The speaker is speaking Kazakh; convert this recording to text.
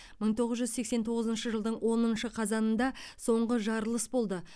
мың тоғыз жүз сексен тоғызыншы жылдың оныншы қазанында соңғы жарылыс болды